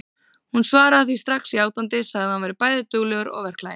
Hún svaraði því strax játandi, sagði að hann væri bæði duglegur og verklaginn.